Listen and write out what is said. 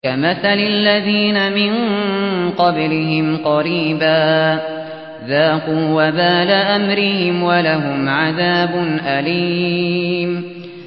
كَمَثَلِ الَّذِينَ مِن قَبْلِهِمْ قَرِيبًا ۖ ذَاقُوا وَبَالَ أَمْرِهِمْ وَلَهُمْ عَذَابٌ أَلِيمٌ